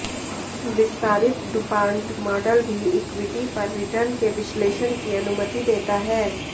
विस्तारित DuPont model भी equity पर रिटर्न के विश्लेषण की अनुमति देता है